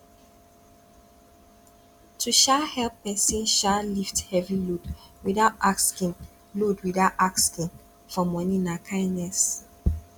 to um help pesin um lift heavy load without asking load without asking for moni na kindness